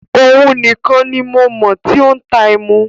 Ọún ní kàn ni mo mọ tí o n tà ẹ̀mú